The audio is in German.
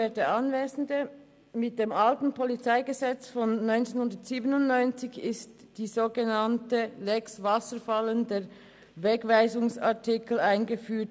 Mit dem alten PolG aus dem Jahr 1997 wurde die sogenannte «Lex Wasserfallen», der Wegweisungsartikel, eingeführt.